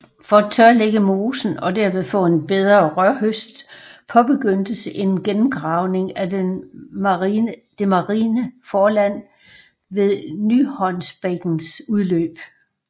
For at tørlægge mosen og derved få en bedre rørhøst påbegyndtes en gennemgravning af det marine forland ved Nyhåndsbækkens udløb